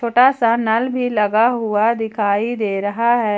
छोटा सा नल भी लगा हुआ दिखाई दे रहा है।